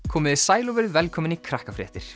komiði sæl og verið velkomin í